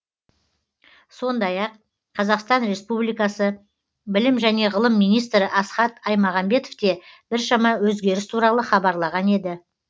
сондай ақ қазақстан республикасы білім және ғылым министрі асхат аймағамбетов те біршама өзгеріс туралы хабарлаған еді